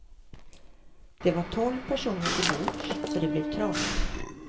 Det var tolv personer till bords, så det blev trångt.